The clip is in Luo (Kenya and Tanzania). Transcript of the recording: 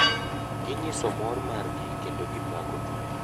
gi nyiso mor mar gi kendo gipako tugo.